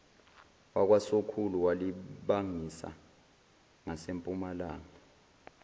wakwasokhulu walibangisa ngasempumalanga